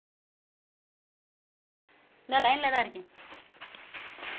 நான் line ல தான் இருக்கேன்